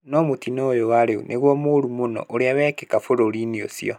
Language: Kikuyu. No mũtino ũyũ wa rĩu nĩguo mũũru mũno ũrĩ wĩkĩka bũrũri-inĩ ũcio.